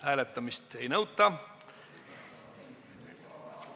Hääletamist ei nõuta.